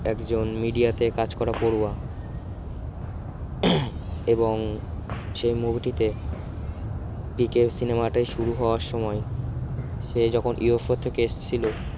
একজন media তে কাজ করা পড়ুয়া এবং সেই movie টিতে পিকে cinema টি শুরু হওয়ার সময় সে যখন UFO থেকে এসেছিল